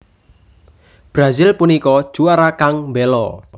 Brazil punika juara kang mbelo